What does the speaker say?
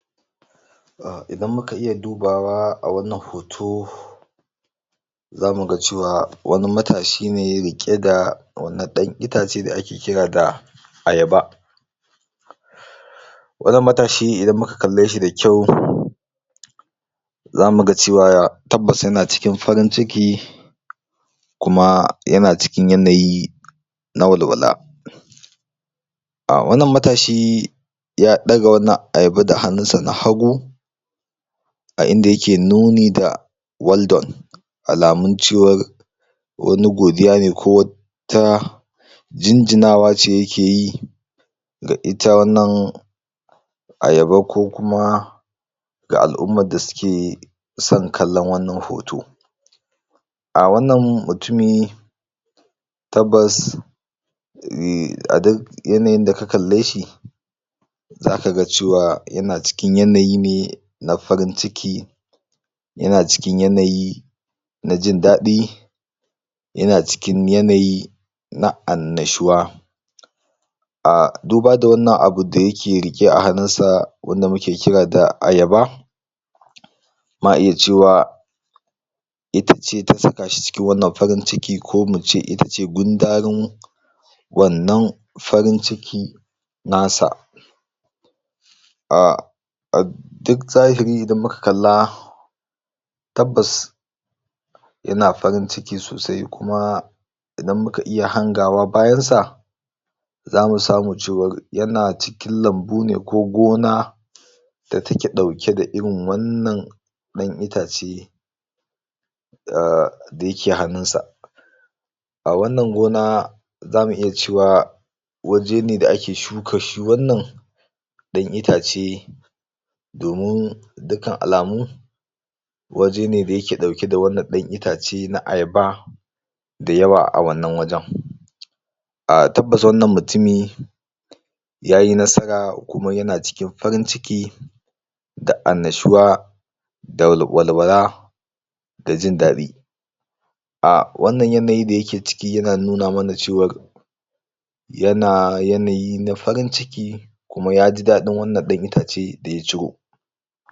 um idan muka iya dubawa a wannan hoto zamu ga cewa wani matashi ne ya riƙi ga wannan ɗan itace da ake kira ga ayaba wannan matashi idan muka kalle shi da kyau zamu ga cewa tabbas yana cikin farin ciki kuma yana cikin yanayi na walwala um wannan matashi ya ɗaga wannan ayaba da hannun sa na hagu a inda yake nuni da well done alamun cewar wani godiya ne ko wani ta jinjina wa ce yake yi ga ita wannan ayaba ko kuma ga al'ummar da suke san kallon wannan hoto um wannan mutumi tabbas yanayin da ka kalle shi zaka ga cewa yana cikin yanayi ne na farin ciki yana cikin yanayi na jin daɗi yana cikin yanayi na annashuwa um duba da wannan abu da yake riƙe a hannun sa wanda muke kira da ayaba ma iya cewa ita ce ta saka shi cikin wannan farin ciki ko mu ce ita ce gundarin wannan farin ciki na sa um duk zahiri idan muka kalla tabbas yana farin ciki sosai kuma idan muka iya hangawa bayan sa zamu samu cewar yana cikin lambu ne ko gona da take ɗauke da irin wannan ɗan itace um da yake hannun sa a wannan gona zamu iya cewa waje ne da ake shuka shi wannan ɗan itace domin dukkan alamu waje ne da yake ɗauke da wannan ɗan itace na ayaba da yawa a wannan wajan um tabbas wannan mutumi yayi nasara kuma yana cikin farin ciki da annashuwa da walwala da jin daɗi um wannan yanayi da yake ciki yana nuna mana cewar yana yanayi na farin ciki kuma ya ji daɗin wannan ɗan itace da ya ciro